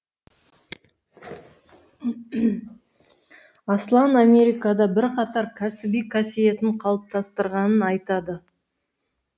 аслан америкада бірқатар кәсіби касиетін қалыптастырғанын айтады